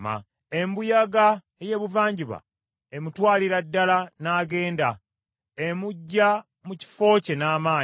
Embuyaga ey’ebuvanjuba emutwalira ddala n’agenda; emuggya mu kifo kye n’amaanyi.